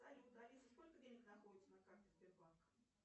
салют алиса сколько денег находится на карте сбербанка